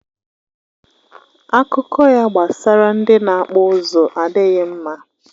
Akụkọ ya gbasara ndị na-akpụ ụzụ adịghị mma